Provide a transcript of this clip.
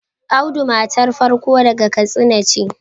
Audu matar farko daga kastina ce